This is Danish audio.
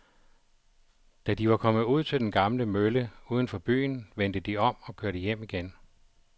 Da de var kommet ud til den gamle mølle uden for byen, vendte de om og kørte hjem igen.